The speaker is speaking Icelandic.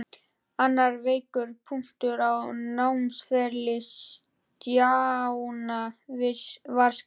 Annar veikur punktur á námsferli Stjána var skriftin.